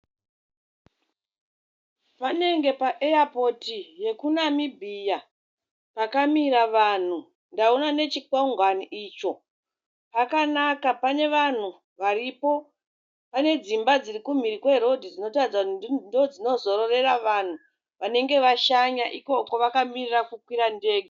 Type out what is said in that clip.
Panenge paeyapoti yekuNamibia, pakamira vanhu, ndaona nechikwagwani icho. Pakanaka pane vanhu varipo. Pane dzimba dziri kumhiri kwerodhi dzinotaridza kuti ndidzo dzinozororera vanhu vanenge vashanya ikoko vakamirira kukwira ndege.